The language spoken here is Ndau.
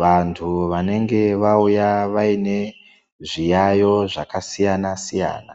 vantu vanenge vauya vaine zviyayo zvaka siyana siyana.